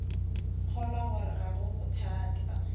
kgolwa gore ga go bothata